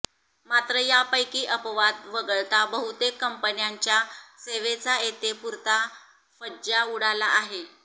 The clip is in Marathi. मात्र यापैकी अपवाद वगळता बहूतेक कंपन्यांच्या सेवेचा येथे पूरता फज्जा उडाला आहे